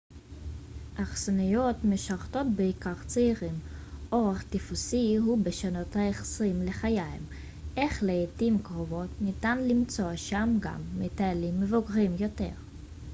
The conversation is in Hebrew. אכסניות משרתות בעיקר צעירים אורח טיפוסי הוא בשנות העשרים לחייהם אך לעתים קרובות ניתן למצוא שם גם מטיילים מבוגרים יותר